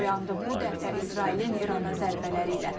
Bu dəfə İsrailin İrana zərbələri ilə.